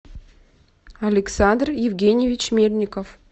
александр евгеньевич мельников